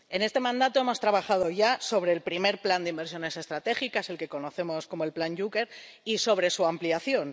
En este mandato hemos trabajado ya sobre el primer plan de inversiones estratégicas, el que conocemos como el Plan Juncker, y sobre su ampliación.